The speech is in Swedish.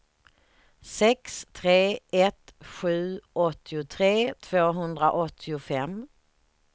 sex tre ett sju åttiotre tvåhundraåttiofem